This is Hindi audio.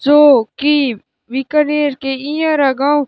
जो कि बीकानेर के इयरा गांव --